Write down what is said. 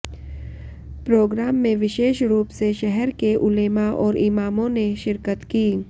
programme में विशेष रूप से शहर के उलेमा और इमामों ने शिरकत की